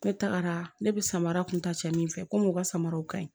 Ne tagara ne bɛ samara kuntacɛ min fɛ komi u ka samaraw ka ɲi